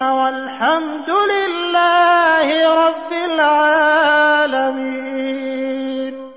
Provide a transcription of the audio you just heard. وَالْحَمْدُ لِلَّهِ رَبِّ الْعَالَمِينَ